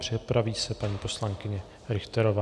Připraví se paní poslankyně Richterová.